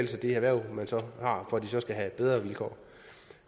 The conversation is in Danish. til de erhverv man så har for at de så skal have bedre vilkår